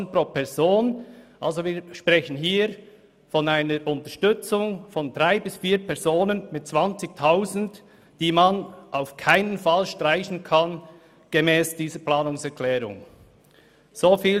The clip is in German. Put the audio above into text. Aber wir sprechen hier von einer Unterstützung von drei bis vier Personen mit je 20 000 Franken, die man gemäss dieser Planungserklärung auf keinen Fall streichen kann.